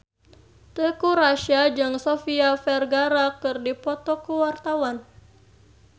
Teuku Rassya jeung Sofia Vergara keur dipoto ku wartawan